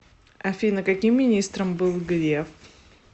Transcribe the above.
афина каким министром был греф